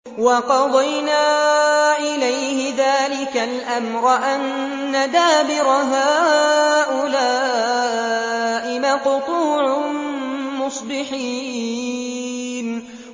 وَقَضَيْنَا إِلَيْهِ ذَٰلِكَ الْأَمْرَ أَنَّ دَابِرَ هَٰؤُلَاءِ مَقْطُوعٌ مُّصْبِحِينَ